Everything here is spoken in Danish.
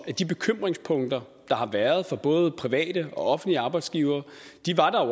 at de bekymringspunkter der har været for både private og offentlige arbejdsgivere